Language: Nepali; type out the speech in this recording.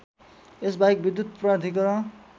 यसबाहेक विद्युत प्राधिकरण